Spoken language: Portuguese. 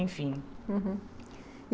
Enfim.